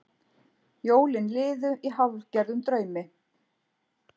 Jólin liðu í hálfgerðum draumi.